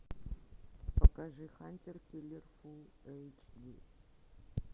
покажи хантер киллер фул эйч ди